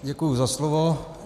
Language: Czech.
Děkuji za slovo.